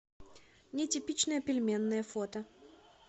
нетипичная пельменная фото